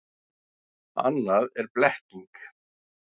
Annað er blekking.